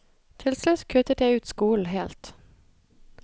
Til slutt kuttet jeg ut skolen helt.